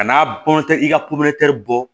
Ka n'a bɔ i ka bɔ